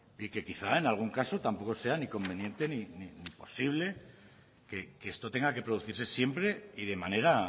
y que quizá en algún caso tampoco sea ni conveniente ni posible que esto tenga que producirse siempre y de manera